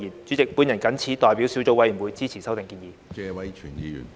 主席，我謹此代表小組委員會支持修訂建議。